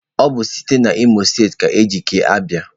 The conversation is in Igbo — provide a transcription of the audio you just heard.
Ọ bụ site n'Imo steeti ka e ji kee Abia.